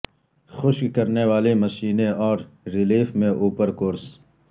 خشک کرنے والی مشینیں اور ریلیف میں اوپر کورس